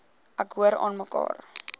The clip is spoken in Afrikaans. ek hoor aanmekaar